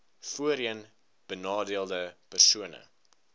voorheen benadeelde persone